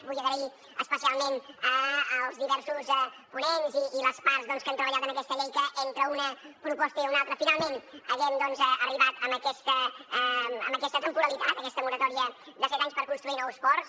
vull agrair especialment als diversos ponents i a les parts doncs que han treballat en aquesta llei que entre una proposta i una altra finalment haguem arribat a aquesta temporalitat a aquesta moratòria de set anys per construir nous ports